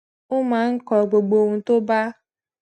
ó máa ń kọ gbogbo ohun tó bá